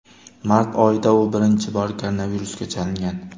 Mart oyida u birinchi bor koronavirusga chalingan.